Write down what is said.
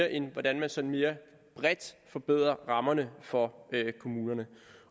end hvordan man sådan mere bredt forbedrer rammerne for kommunerne